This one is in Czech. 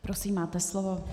Prosím, máte slovo.